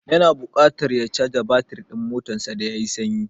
Ya na buƙatar ya caja batir ɗin motarsa da ya yi sanyi.